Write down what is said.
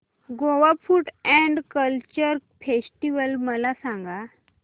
Goa food and culture festival मला सांगा